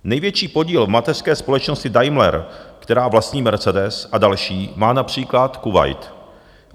Největší podíl v mateřské společnosti Daimler, která vlastní Mercedes a další, má například Kuvajt.